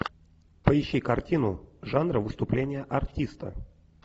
поищи картину жанра выступление артиста